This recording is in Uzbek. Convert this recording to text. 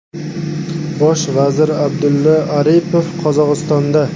Bosh vazir Abdulla Aripov Qozog‘istonda.